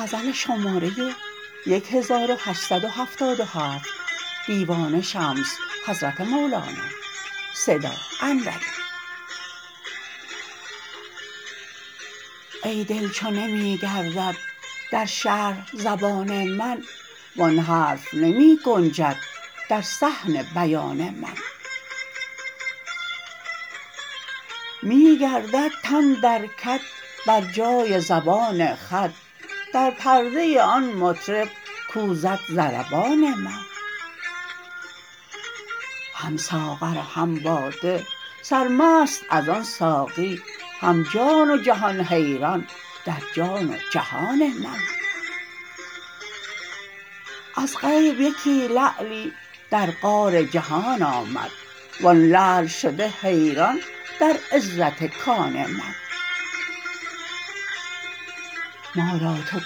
ای دل چو نمی گردد در شرح زبان من وان حرف نمی گنجد در صحن بیان من می گردد تن در کد بر جای زبان خود در پرده آن مطرب کو زد ضربان من هم ساغر و هم باده سرمست از آن ساقی هم جان و جهان حیران در جان و جهان من از غیب یکی لعلی در غار جهان آمد وان لعل شده حیران در عزت کان من ما را تو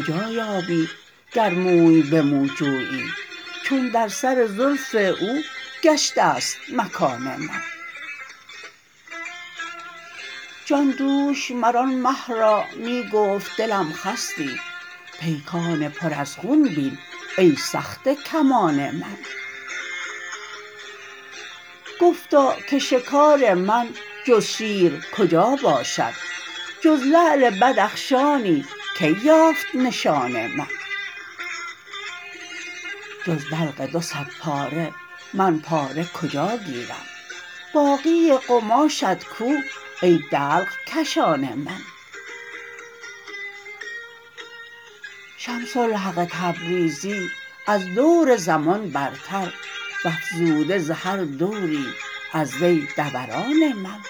کجا یابی گر موی به مو جویی چون در سر زلف او گشته ست مکان من جان دوش مر آن مه را می گفت دلم خستی پیکان پر از خون بین ای سخته کمان من گفتا که شکار من جز شیر کجا باشد جز لعل بدخشانی کی یافت نشان من جز دلق دو صدپاره من پاره کجا گیرم باقی قماشت کو ای دلق کشان من شمس الحق تبریزی از دور زمان برتر و افزوده ز هر دوری از وی دوران من